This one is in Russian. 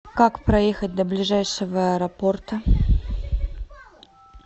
как проехать до ближайшего аэропорта